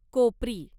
कोपरी